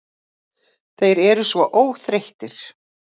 Þeir eru svo óþreyttir.